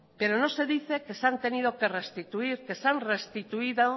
pero no se dice que se han tenido que restituir que se han restituido